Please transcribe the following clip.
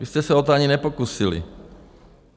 Vy jste se o to ani nepokusili.